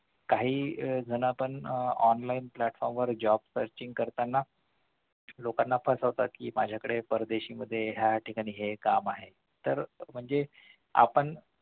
काही जन आपण आह online platform वर job searching करताना लोकांना फसवतात कि आमच्याकडे परदेशी ह्या ठिकाणी काम आहे तर म्हणजे आपण